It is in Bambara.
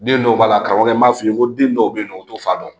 Den dɔw b'a la karamɔgɔ n b'a f'i ye n ko den dɔw bɛ yen nɔ u t'o fa dɔn